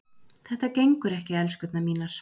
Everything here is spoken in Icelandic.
Þetta gengur ekki, elskurnar mínar.